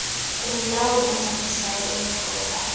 kumlawuli oncedisayo oyintloko